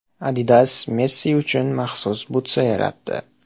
Adidas Messi uchun maxsus butsa yaratdi.